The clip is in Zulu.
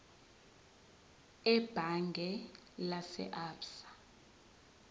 ebhange lase absa